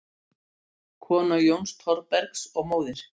Kona Jóns Thorbergs og móðir